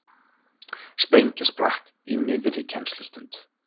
Sprengja sprakk í miðri kennslustund